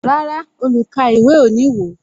Rárá, olukaiwe o ní wo